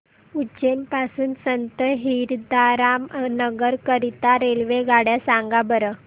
उज्जैन पासून संत हिरदाराम नगर करीता रेल्वेगाड्या सांगा बरं